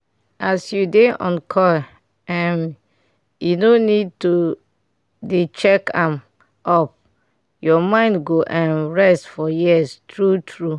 as u dey on coil um e no need to dey check am up ur mind go um rest for years true true